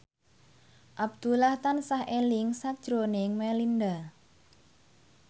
Abdullah tansah eling sakjroning Melinda